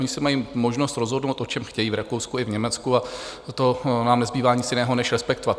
Oni se mají možnost rozhodovat, o čem chtějí, v Rakousku i v Německu, a to nám nezbývá nic jiného než respektovat.